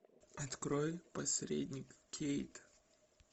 открой посредник кейт